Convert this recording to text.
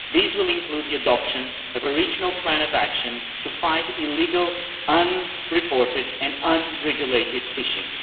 This will include the adoption of a regional plan of action to fight illegal, unreported and unregulated fishing.